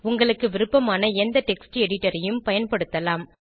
உங்களுக்கு விருப்பமான எந்த டெக்ஸ்ட் editorஐயும் பயன்படுத்தலாம்